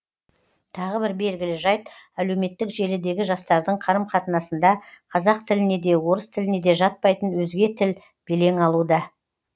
тағы бір белгілі жайт әлеуметтік желідегі жастардың қарым қатынасында қазақ тіліне де орыс тіліне де жатпайтын өзге тіл белең алуда